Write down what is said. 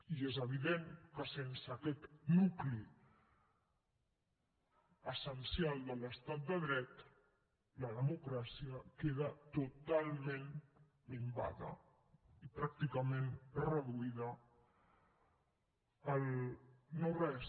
i és evident que sense aquest nucli essencial de l’estat de dret la democràcia queda totalment minvada i pràcticament reduïda al no res